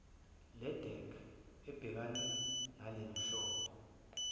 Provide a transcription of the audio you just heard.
ledec ebhekane nalenhlobo